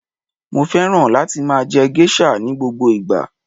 Mo féràn láti máa je geisha ni gbogbo ìgbà